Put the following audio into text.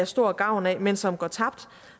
stor gavn af men som går tabt